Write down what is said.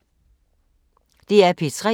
DR P3